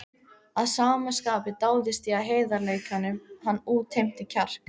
Að sama skapi dáðist ég að heiðarleikanum, hann útheimti kjark.